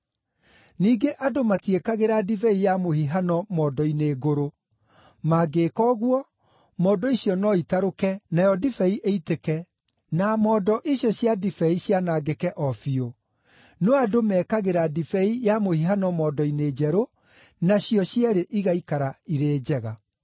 Ningĩ andũ matiĩkagĩra ndibei ya mũhihano mondo-inĩ ngũrũ. Mangĩĩka ũguo, mondo icio no itarũke, nayo ndibei ĩitĩke, na mondo icio cia ndibei cianangĩke o biũ. No andũ mekagĩra ndibei ya mũhihano mondo-inĩ njerũ, nacio cierĩ igaikara irĩ njega.”